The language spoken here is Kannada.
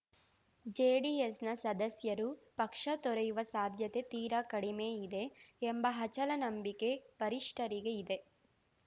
ಜೆಡಿಎಸ್‌ನ ಸದಸ್ಯರು ಪಕ್ಷ ತೊರೆಯುವ ಸಾಧ್ಯತೆ ತೀರಾ ಕಡಿಮೆ ಇದೆ ಎಂಬ ಅಚಲ ನಂಬಿಕೆ ವರಿಷ್ಠರಿಗೆ ಇದೆ